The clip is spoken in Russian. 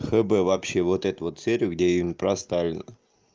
хб вообще вот это вот серию где им про сталина